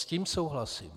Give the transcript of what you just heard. S tím souhlasím.